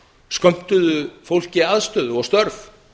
skömmtuðu fólki aðstöðu og störf